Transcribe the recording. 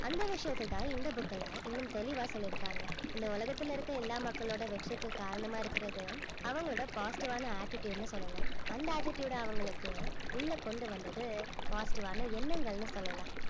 அந்த விஷயத்தைத்தான் இந்த book ல இன்னும் தெளிவா சொல்லிருக்காங்க இந்த உலகத்துல இருக்க எல்லா மக்களோட வெற்றிக்கு காரணமா இருக்கிறது அவங்களோட positive ஆன attitude ன்னு சொல்லலாம் அந்த attitude அ அவங்களுக்கு உள்ள கொண்டு வந்தது positive ஆன எண்ணங்கள்னு சொல்லலாம்